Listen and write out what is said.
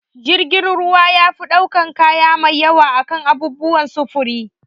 Jirgin ruwa yafi ɗaukan kaya mai yawa akan sauran abubuwan sufuri